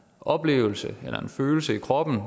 oplevelse eller en følelse i kroppen af